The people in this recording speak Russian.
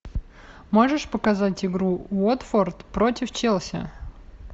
можешь показать игру уотфорд против челси